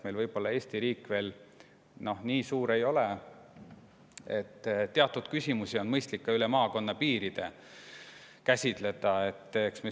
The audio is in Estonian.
Eesti riik nii suur ei ole, teatud küsimusi on mõistlik ka üle maakonnapiiride käsitleda.